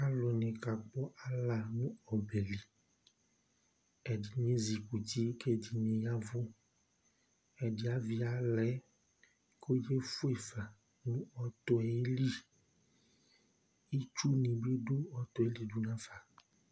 alò ni ka kò ala no ɔbɛ li ɛdini ezi kuti k'ɛdini ya vu ɛdi avi ala yɛ k'ɔbe fue fa no ɔtɔ yɛ li itsu ni bi do ɔtɔ yɛ li do nafa